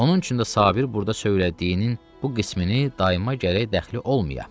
Onun üçün də Sabir burda söylədiyinin bu qismini dayıma gərək dəxli olmaya.